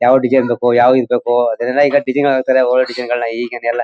ಯಾವ ಡಿಸೈನ್ ಬೇಕು ಯಾವ ಇದ್ ಬೇಕು ಅದರಿಂದ್ ಈಗ ಡಿಸೈನ್ ಗಳ ಸರಿಯಾಗಿ ಓವರ್ ಡಿಸೈನ್ ಈಗಿಂದೆಲ್ಲಾ.